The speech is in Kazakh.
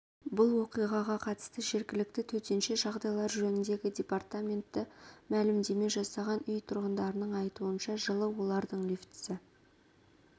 бұл оқиғаға қатысты жергілікті төтенше жағдайлар жөніндегі департаменті мәлімдеме жасаған үй тұрғындарының айтуынша жылы олардың лифтісі